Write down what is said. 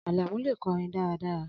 Alamu le kọrin daradara